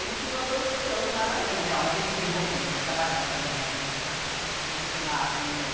Ele tinha uma profissão, mas... É, não, mas ele desenvolvia, assim, trabalhava também na fundição, mas tinha esse lado meio...